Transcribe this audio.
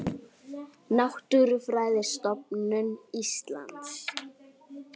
Náttúrufræðistofnun Íslands.